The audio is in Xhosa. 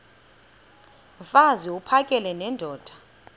mfaz uphakele nendoda